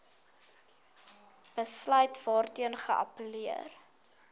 besluit waarteen geappelleer